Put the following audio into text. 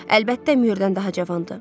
Əlbəttə, Müyürdən daha cavandır.